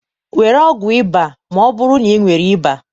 Were ọgwụ ịba ma ọ bụrụ na ị nwere ịba.